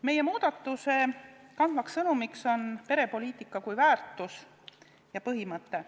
Meie muudatuse kandev sõnum on perepoliitika kui väärtus ja põhimõte.